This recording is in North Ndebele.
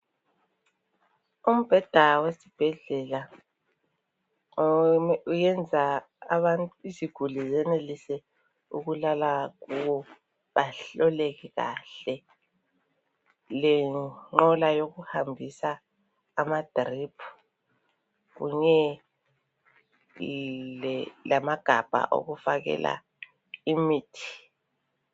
Umbheda wesibhedlela uyenza iziguli zenelise ukulala kuwo bahloleke kuhle. Lenqola yokuhambisa amadrip kunye lamagabha okufakela imithi.